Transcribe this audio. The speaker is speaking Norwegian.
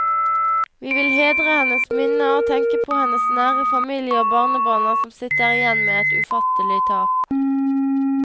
Vi vil hedre hennes minne og tenker på hennes nære familie og barnebarna som sitter igjen med et ufattelig tap.